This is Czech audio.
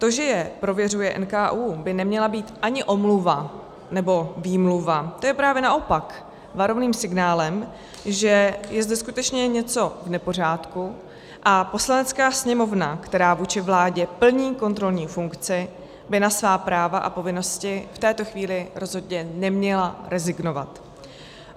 To, že je prověřuje NKÚ, by neměla být ani omluva nebo výmluva, to je právě naopak varovným signálem, že je zde skutečně něco v nepořádku, a Poslanecká sněmovna, která vůči vládě plní kontrolní funkci, by na svá práva a povinnosti v této chvíli rozhodně neměla rezignovat.